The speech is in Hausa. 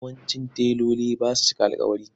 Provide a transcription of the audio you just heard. Yawancin teloli ba sa cika alƙawari.